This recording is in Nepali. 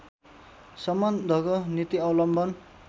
सम्बन्धको नीति अवलम्बन